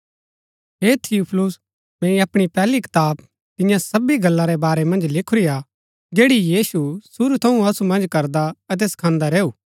हे थियुफिलुस मैंई अपणी पैहली कताब तियां सबी गल्ला रै बारै मन्ज लिखुरीआ जैड़ी यीशु शुरू थऊँ असु मन्ज करदा अतै सखांदा रैऊ